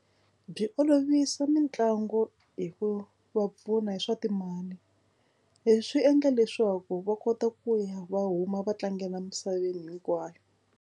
Byi olovisa mitlangu hi ku va pfuna hi swa timali. Leswi endla leswaku va kota ku ya va huma va tlangela emisaveni hinkwayo.